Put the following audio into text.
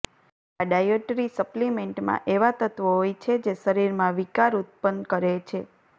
આ ડાયટરી સપ્લિમેન્ટમાં એવા તત્વો હોય છે જે શરીરમાં વિકાર ઉત્પન્ન કરે છે